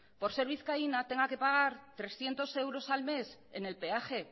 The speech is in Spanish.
por ser vizcaína tenga que pagar trescientos euros al mes en el peaje